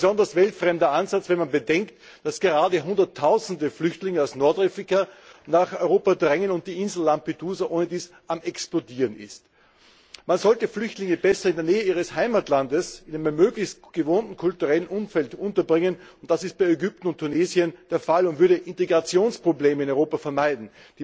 Ein besonders weltfremder Ansatz, wenn man bedenkt, dass gerade Hunderttausende Flüchtlinge aus Nordafrika nach Europa drängen und die Insel Lampedusa ohnedies am Explodieren ist. Man sollte Flüchtlinge besser in der Nähe ihres Heimatlandes in einem möglichst gewohnten kulturellen Umfeld unterbringen, und das ist bei Ägypten und Tunesien der Fall und würde Integrationsprobleme in Europa vermeiden.